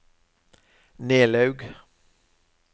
Nelaug